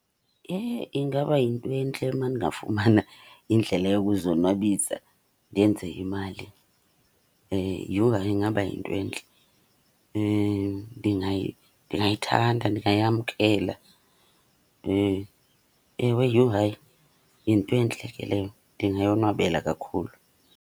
Yhe ingaba yintwentle uma ndingafumana indlela yokuzonwabisa ndenze imali. Yhu hayi ingaba yintwentle. Ndingayithanda, ndingayamkela. Ewe, yhu hayi yintwentle ke leyo, ndingayonwabela kakhulu.